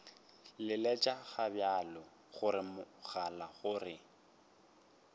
leletša gobjalo mogala gore a